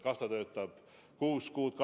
Kas ta töötab kuus kuud?